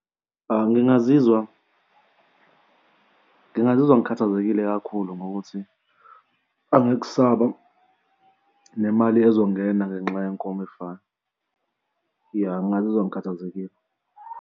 Ngingazizwa, ngingazizwa ngikhathazekile kakhulu ngokuthi angikusaba nemali ezongena ngenxa yenkomo efanayo. Ya ngingazizwa ngikhathazekile.